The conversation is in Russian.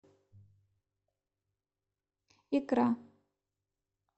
икра